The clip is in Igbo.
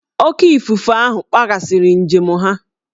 Oké ifufe ahụ kpaghasịrị njem ha